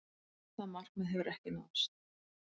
Það markmið hefur ekki náðst.